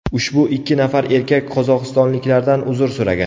Ushbu ikki nafar erkak qozog‘istonliklardan uzr so‘ragan.